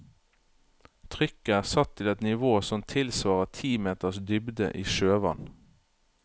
Trykket er satt til et nivå som tilsvarer ti meters dybde i sjøvann.